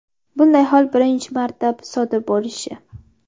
Bunday hol birinchi marta sodir bo‘lishi.